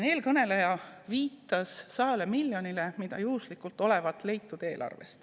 Eelkõneleja viitas siin 100 miljonile, mis olevat juhuslikult eelarvest leitud.